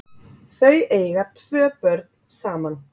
Þau eiga tvo börn saman